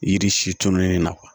Yiri si tununi na